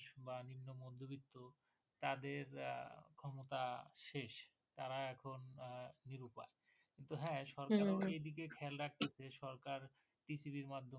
তাদের ক্ষমতা শেষ তারা এখন নিরুপায় কিন্তু হ্যাঁ সরকার এরও এদিকে খেয়াল রাখতে হচ্ছে সরকার কৃষি এর মাধ্যমে